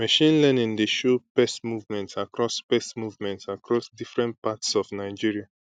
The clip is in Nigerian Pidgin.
machine learning dey show pest movement across pest movement across different parts of nigeria